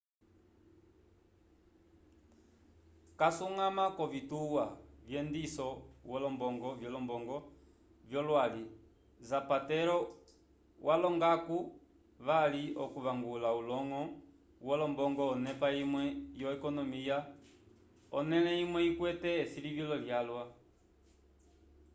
casuñgama k'ovituwa vyendiso vyolombongo vyolwali zapatero walonga-ko vali okuvangula uloñgo wolombongo onepa imwe yo-ekonomiya onẽle imwe ikwete esilivilo lyalwa